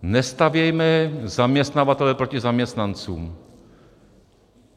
Nestavějme zaměstnavatele proti zaměstnancům.